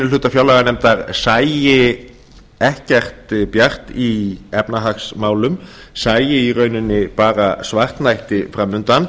hluta fjárlaganefndar sæi ekkert bjart í efnahagsmálum sæi í rauninni bara svartnætti fram undan